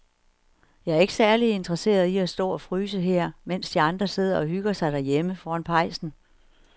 Jeg er ikke særlig interesseret i at stå og fryse her, mens de andre sidder og hygger sig derhjemme foran pejsen.